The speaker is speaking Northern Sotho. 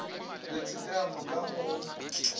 le tshekamo ka mo go